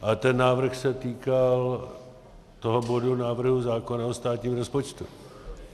Ale ten návrh se týkal toho bodu návrhu zákona o státním rozpočtu.